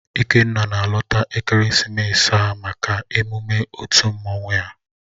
Ikenna na-alọta ekeresimesi a maka emume otu mmanwụ ya